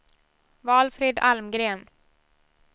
Valfrid Almgren